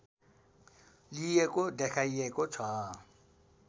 लिएको देखाइएको छ